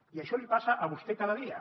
i això li passa a vostè cada dia